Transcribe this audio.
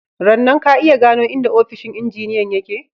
Rannan, ka iya gano inda ofishin injiniyan ya ke?/